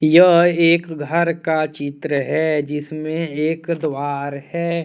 यह एक घर का चित्र हैजिसमें एक द्वार है।